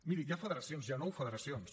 miri hi ha federacions hi ha nou federacions